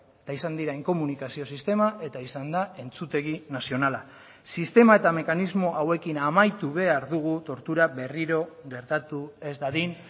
eta izan dira inkomunikazio sistema eta izan da entzutegi nazionala sistema eta mekanismo hauekin amaitu behar dugu tortura berriro gertatu ez dadin